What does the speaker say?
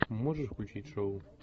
можешь включить шоу